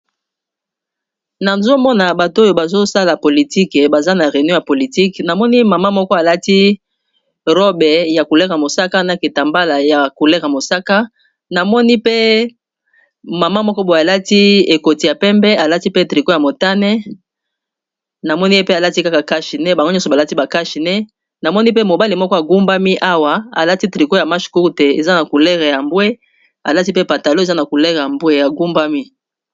Awa nazomona bato oyo bazosala politike baza na réunion ya politique namoni mama moko alati robe ya couleur mosaka na keta mbala ya couleur ya mosaka mama moko bo alati ekoti ya pembe alati pe trico ya motane namoni e pe alati kaka kashine bango nyonso balati bakashine namoni pe mobale moko agumbami awa alati trico ya mash courte eza na culere ya mbwe alati pe patalo eza na kulere yambwe ya gumbami